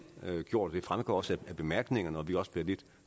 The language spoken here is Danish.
gjort det fremgår også af bemærkningerne og vi også blevet lidt